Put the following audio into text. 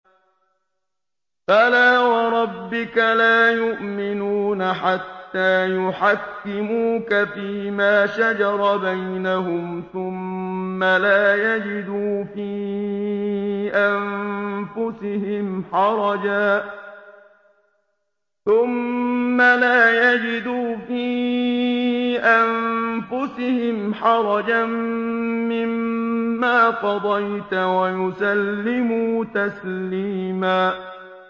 فَلَا وَرَبِّكَ لَا يُؤْمِنُونَ حَتَّىٰ يُحَكِّمُوكَ فِيمَا شَجَرَ بَيْنَهُمْ ثُمَّ لَا يَجِدُوا فِي أَنفُسِهِمْ حَرَجًا مِّمَّا قَضَيْتَ وَيُسَلِّمُوا تَسْلِيمًا